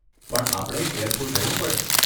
પણ આપણે કેરફૂલ રહેવું પડે.